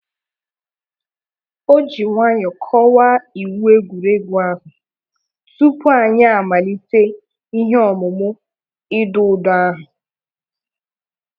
Oji nwayọ kọwaa iwu egwuregwu ahụ tupu anyị amalite ihe emumu idọ ụdọ ahụ